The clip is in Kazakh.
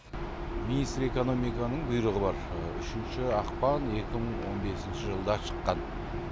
министр экономиканың бұйрығы бар үшінші ақпан екі мың он бесінші жылда шыққан